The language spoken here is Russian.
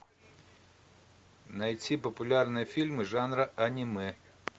найти популярные фильмы жанра аниме